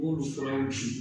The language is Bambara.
Olu furaw di